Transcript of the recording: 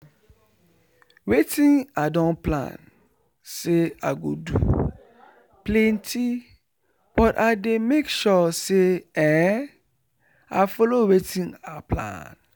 wetin i don plan say i go do plenty but i dey make sure say ehnnn i follow wetin i plan